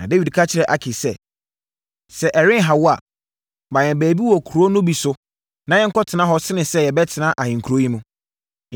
Na Dawid ka kyerɛɛ Akis sɛ, “Sɛ ɛrenha wo a, ma yɛn baabi wɔ nkuro no bi so na yɛnkɔtena hɔ sene sɛ yɛbɛtena ahenkuro yi mu.”